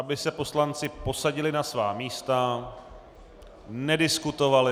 Aby se poslanci posadili na svá místa, nediskutovali.